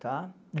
tá?